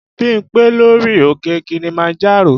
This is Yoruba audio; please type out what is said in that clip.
Bímpé lọ rí òkè Kilimanjaro